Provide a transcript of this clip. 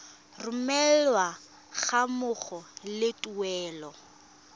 romelwa ga mmogo le tuelo